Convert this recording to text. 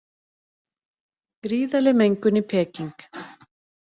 Gríðarleg mengun í Peking